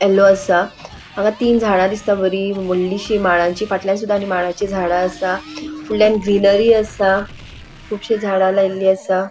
येल्लो आसा हांगा तीन झाडा दिसता बरी वडलीशी माडाची फाटल्यानसुद्धा आणि माडाची झाडा आसा फूडल्यान ग्रीनरी आसा कूबशी झाडा लायल्ली आसा.